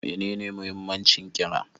Menene muhimmancin ƙira?